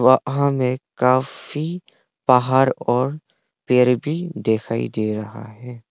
हमें काफी पहाड़ और पेड़ भी दिखाई दे रहा है।